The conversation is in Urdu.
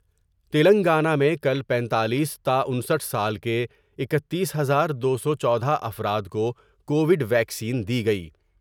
تلنگانہ میں کل پنتالیس تا انسٹھ سال کے اکتیس ہزار دو سو چودہ افراد کوکووڈ ویکسین دی گئی ۔